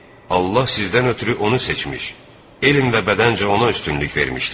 Allah sizdən ötrü onu seçmiş, elm və bədəncə ona üstünlük vermişdir.